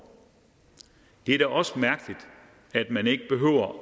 det er også mærkeligt at man ikke behøver at